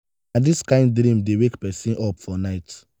na dis kain dream dey wake pesin up for night.